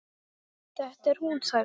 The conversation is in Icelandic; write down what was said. Þetta er hún sagði hann.